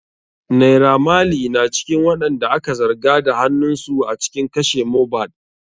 Naira maley na cikin waɗanda aka zarga da hanunsu a cikin kashe Mohbad.